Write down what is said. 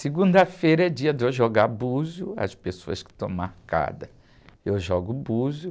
Segunda-feira é dia de eu jogar búzio, as pessoas que estão marcadas, eu jogo búzio.